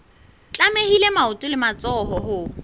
tlamehile maoto le matsoho ho